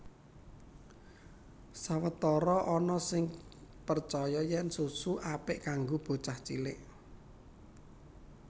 Sawetara ana sing percaya yèn susu apik kanggo bocah cilik